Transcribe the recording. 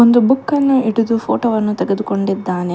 ಒಂದು ಬುಕ್ಕನ್ನು ಹಿಡಿದು ಫೋಟೋ ವನ್ನು ತೆಗೆದುಕೊಂಡಿದ್ದಾನೆ.